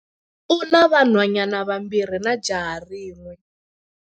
U na vanhwanyana vambirhi na jaha rin'we.